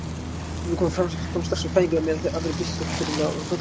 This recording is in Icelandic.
Sumir koma fram strax við fæðingu á meðan aðrir birtast ekki fyrr en á fullorðinsárum.